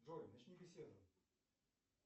джой начни беседу